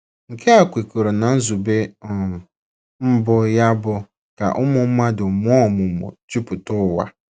Nke a kwekọrọ ná nzube um mbụ ya bụ́ ka ụmụ mmadụ mụọ ọmụmụ jupụta ụwa.